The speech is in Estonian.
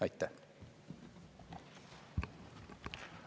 Aitäh!